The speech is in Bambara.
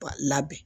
Labɛn